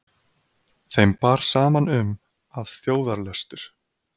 Þeim bar saman um, að þjóðarlöstur